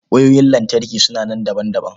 Wayoyin lantarki suna nan daban-daban.